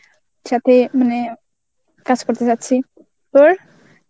মানে কাজ করতে চাচ্ছি. তোর?